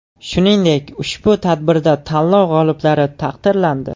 Shuningdek ushbu tadbirda tanlov g‘oliblari taqdirlandi.